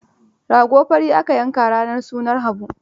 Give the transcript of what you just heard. Rago fari aka yanka a ranar sunan Habu.